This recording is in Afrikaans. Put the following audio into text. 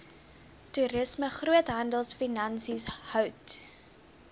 toerisme groothandelfinansies hout